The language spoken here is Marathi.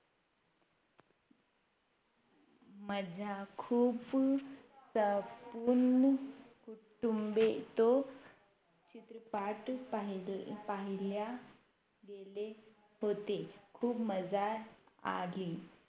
मजा खूप जपून कुठूमबितो चित्रपाट पहिला पहिल्या गेले होते खूप मजा आली